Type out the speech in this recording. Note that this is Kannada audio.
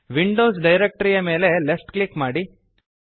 ವಿಂಡೋಸ್ ಡಿರೆಕ್ಟರಿಯ ಮೇಲೆ ಲೆಫ್ಟ್ ಕ್ಲಿಕ್ ಮಾಡಿರಿ